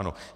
Ano.